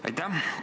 Aitäh!